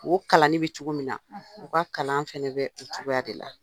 O kalanni bɛ cogo min na u ka kalan fana bɛ o cogoya de la